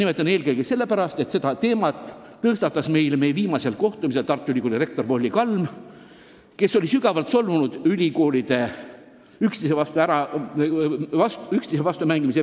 Nimetan eelkõige sellepärast, et selle teema tõstatas meie viimasel kohtumisel Tartu Ülikooli rektor Volli Kalm, keda sügavalt solvas ülikoolide püüe üksteise vastu mängida.